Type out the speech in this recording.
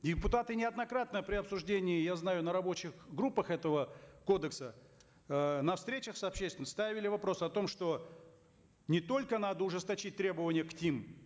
депутаты неоднократно при обсуждении я знаю на рабочих группах этого кодекса э на встречах с общественностью ставили вопрос о том что не только надо ужесточить требования к ним